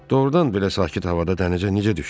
Doğrudan belə sakit havada dənizə necə düşdün?